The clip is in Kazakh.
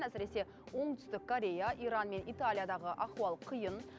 әсіресе оңтүстік корея иран мен италиядағы ахуал қиын